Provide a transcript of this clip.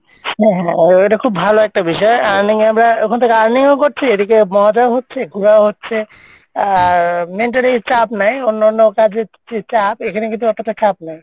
হ্যাঁ হ্যাঁ হ্যাঁ এটা খুব ভালো একটা বিষয় earning এ আমরা ওখান থেকে earning ও করছি এদিকে মজাও হচ্ছে ঘুরাও হচ্ছে আর mentally চাপ নাই অন্য অন্য কাজের চে চাপ এখানে কিন্তু অতটা চাপ নাই,